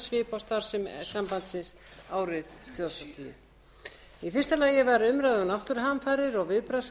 á starfsemi sambandsins árið tvö þúsund og tíu í fyrsta lagi var umræða um náttúruhamfarir og viðbragðsáætlanir við